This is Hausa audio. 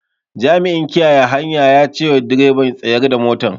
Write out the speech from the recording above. Jami'in kiyaye hanya ya cewa direban "Tsayar da motar"